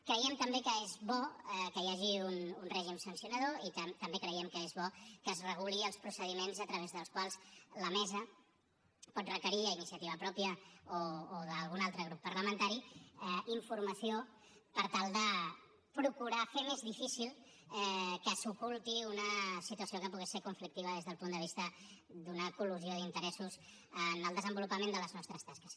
creiem també que és bo que hi hagi un règim sancionador i també creiem que és bo que es regulin els procediments a través dels quals la mesa pot requerir a iniciativa pròpia o d’algun altre grup parlamentari informació per tal de procurar fer més difícil que s’oculti una situació que pugui ser conflictiva des del punt de vista d’una col·lusió d’interessos en el desenvolupament de les nostres tasques